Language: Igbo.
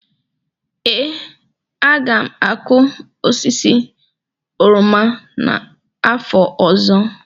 ee, aga m akụ osisi oroma n'afọ ọzọ